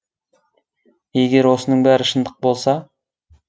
егер осының бәрі шындық болса